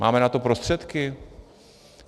Máme na to prostředky?